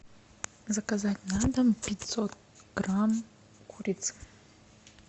заказать на дом пятьсот грамм курицы